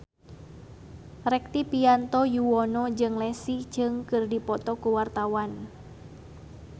Rektivianto Yoewono jeung Leslie Cheung keur dipoto ku wartawan